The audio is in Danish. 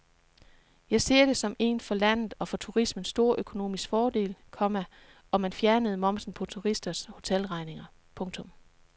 Jeg ser det som en for landet og for turismen stor økonomisk fordel, komma om man fjernede momsen på turisters hotelregninger. punktum